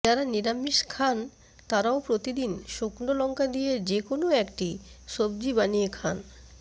যারা নিরামিষ খান তারাও প্রতিদিন শুকনো লঙ্কা দিয়ে যে কোনও একটি সব্জি বানিয়ে খান